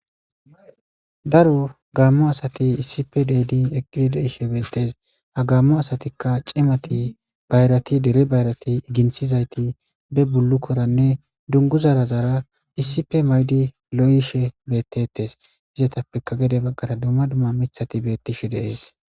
Daro gaammo asati issipe deedin eqqidi deishe bettees ha gammo asatikka cimati bayrati dere bayrati ginthizayti be bullukkoranne dunguzarazara issipe maydi lo7ishe bettetes izetappeka gede baggara dumma dumma mithati bettishe deees.